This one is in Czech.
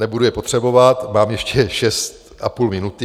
Nebudu je potřebovat, mám ještě šest a půl minuty.